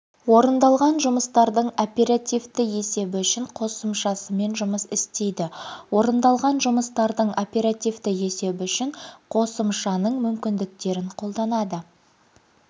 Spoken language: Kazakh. орындалған жұмыстардың оперативті есебі үшін қосымшасымен жұмыс істейді орындалған жұмыстардың оперативті есебі үшін қосымшасының мүмкіндіктерін қолданады